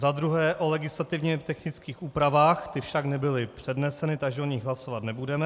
Za druhé o legislativně technických úpravách, ty však nebyly předneseny, takže o nich hlasovat nebudeme.